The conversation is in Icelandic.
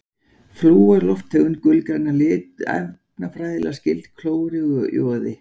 Flúor er lofttegund, gulgræn að lit, efnafræðilega skyld klóri og joði.